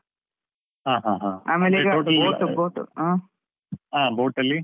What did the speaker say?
ಹ ಹ ಹ ಆ boAt ಅಲ್ಲಿ.